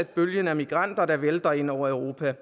bølgen af migranter der vælter ind over europa